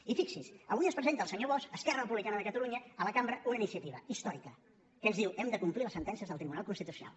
i fixi·s’hi avui ens presenta el senyor bosch esquerra republicana de catalunya a la cambra una iniciativa històrica que ens diu hem de complir les sentències del tribunal constitucional